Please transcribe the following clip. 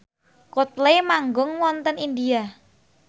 Coldplay manggung wonten India